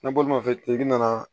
Ne bolimafɛntigi nana